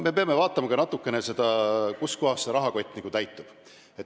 Me peame vaatama natukene seda, kust kohast see rahakott täitub.